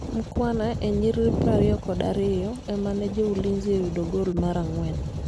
Mukhwana e nyiriri prariyo kod ariyo emane jo Ulinzi oyudo gol mar angwen